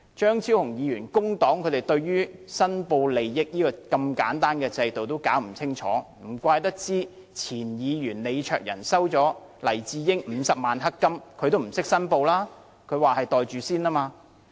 張超雄議員作為工黨議員，對申報利益如此簡單的制度也弄不清楚，難怪前議員李卓人先生收取了黎智英50萬元"黑金"，也不懂作出申報，他說那只是"袋住先"。